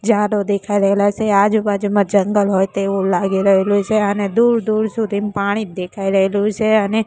જાડો દેખાઈ રહેલા છે આજુબાજુમાં જંગલ હોય તેવું લાગી રહ્યું છે અને દૂર દૂર સુધી પાણી જ દેખાઈ રહેલું છે અને--